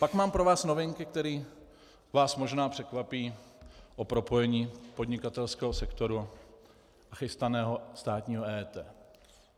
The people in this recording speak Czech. Pak mám pro vás novinky, které vás možná překvapí o propojení podnikatelského sektoru a chystaného státního EET.